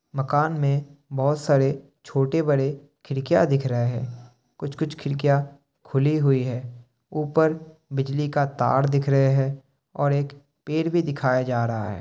मकान में बहुत सारे छोटे बड़े खिड़किया दिख रहे हैं। कुछ कुछ खिड़किया खुली हुई है। ऊपर बिजली का तार दिख रहे है और एक पेड़ भी दिखाया जा रहा है।